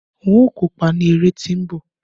n o kópa ni ere ti nbọ